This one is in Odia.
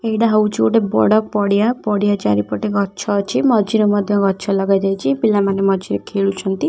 ଏଇଟା ହଉଛି ଗୋଟେ ବଡ ପଡିଆ ପଡିଆ ଚାରିପଟେ ଗଛ ଅଛି ମଝିରେ ମଧ୍ୟ ଗଛ ଲଗା ଯାଇଛି ପିଲାମାନେ ମଝିରେ ଖେଳୁଛନ୍ତି।